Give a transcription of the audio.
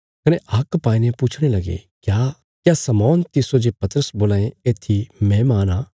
कने हाक पाईने पुछणे लगे क्या शमौन तिस्सो जे पतरस बोलां ये येत्थी मैहमान आ